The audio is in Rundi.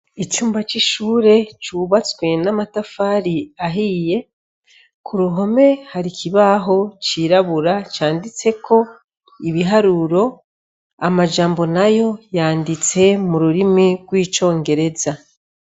Icumba c'ishure cubatswe n'amatafari ahiye ku ruhome hari ikibaho cirabura canditseko ibiharuro amajambo na yo yanditse mu rurimi rw'icongereza.